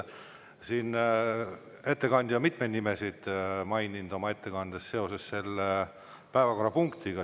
Ettekandja on mitmeid nimesid maininud oma ettekandes seoses selle päevakorrapunktiga.